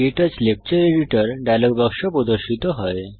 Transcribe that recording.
ক্টাচ lecture editor dialog বাক্স প্রদর্শিত হয়